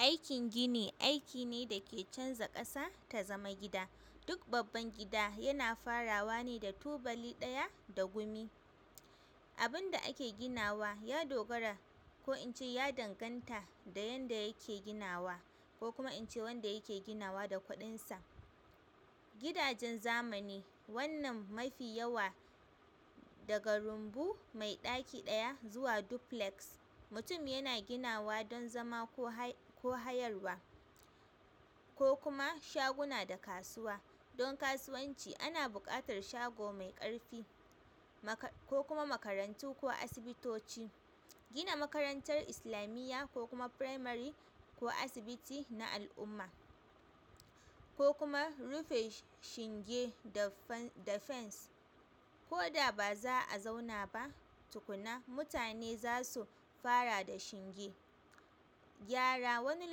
Aikin gini aiki ne da ke canza ƙasa ta zama gida. Duk babban gida yana farawa ne da tubali ɗaya da gumi. Abin da ake ginawa ya dogara ko in ce ya danganta da yadda yake ginawa ko kuma in ce wanda yake ginawa da kuɗinsa. Gidajen zamani wannan mafi yawa daga rumbu mai ɗaki ɗaya zuwa duplex mutum yana ginawa don zama ko hayarwa ko kuma shaguna da kasuwa. Don kasuwanci ana buƙatar shago mai ƙarfi ko kuma makarantu ko asibitoci. Gina makarantar islamiyya ko kuma firamare ko asibiti na al'umma ko kuma rufe shinge da fens. Ko da ba za a zauna ba tukuna mutane za su fara da shinge. Gyara wani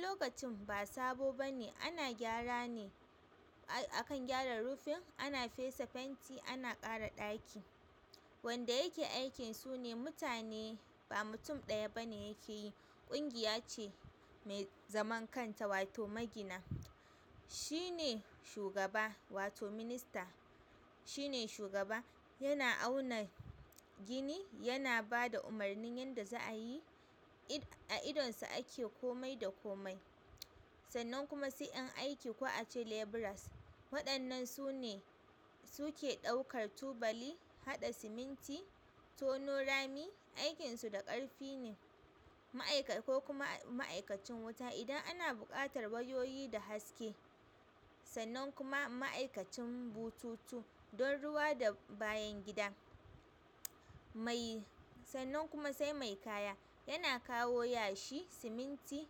lokacin ba sabo bane ana gyara ne. Akan gyaran rufin ana fesa fenti ana ƙara ɗaki. Wanda yake aikin sune mutane ba mutum ɗaya bane yake yi. Abin da ake ginawa ya dogara ko in ce ya danganta da yadda yake ginawa ko kuma in ce wanda yake ginawa da kuɗinsa. Gidajen zamani wannan mafi yawa daga rumbu mai ɗaki ɗaya zuwa duplex mutum yana ginawa don zama ko hayarwa gina makarantar islamiyya ko kuma firamare ko asibiti na al'umma ko kuma rufe shinge da fens. A idonsu ake komai da komai. Sannan kuma sai 'yan aikin ko ince leburas, waɗannan sune, suke ɗaukar ɗaukar tubali, haɗa siminti, tono rami. Aikin su na ƙarfi ne ma'aikacin wuta ne, kokuma idan ana buƙatar wayoyi da haske. Sannan kuma ma'aikacin bututu don ruwa da bayan gida. Sannan kuma sai mai kawo kaya, yana kawo yashi, siminti,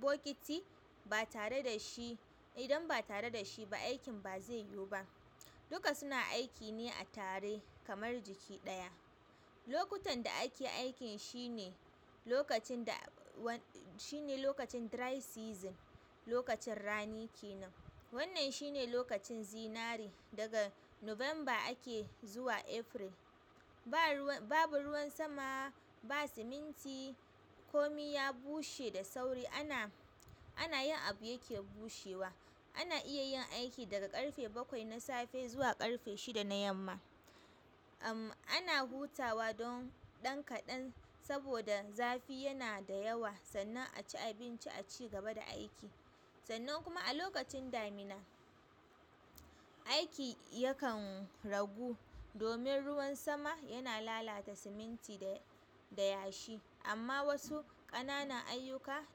bokiti, ba tare da shi, idan ba tare da shi ba, aikin bazai yiwuba. Duka suna aiki ne a tare kamar jiki ɗaya. Lokutan da ake aikin shine lokacin da, lokacin dry season, lokacin rani kenan wannan shine lokacin zinare, daga November ake zuwa April, ba siminti, babu ruwan sama, komi ya bushe da sauri, ana, ana yin abu yake bushewa ana iya yin aiki daga ƙarfe bakwai na safe zuwa ƙarfe shida na yamma. Ana hutawa don ɗan kaɗan sabuda zafi yana dayawa sannan aci abinci, acigaba da aiki. Sannan kuma a lokacin damina aiki yakan ragu domin ruwan sama yana lalata siminti da yashi. Amma wasu ƙananan aiyuka,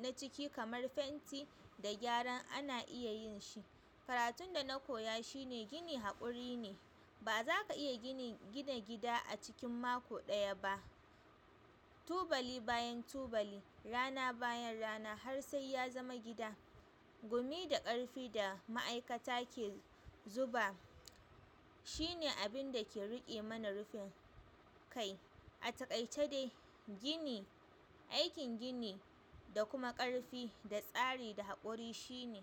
naciki kamar fenti da gyara ana yinshi, karatunda nakoya shine, gini haƙuri kenan bazaka iya gina gida acikin maka ɗaya ba tubali bayan tubali, rana bayan rana har sai yazama gida gumi da ƙarfi da ma'aikata ke zuba shine abin da ke riƙe mana rufin kai. A takaice dai gini aikin gini, kuma ƙarfi da tsari da haƙuri shine.